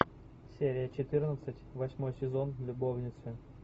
серия четырнадцать восьмой сезон любовницы